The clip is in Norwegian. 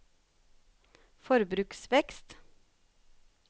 forbruksvekst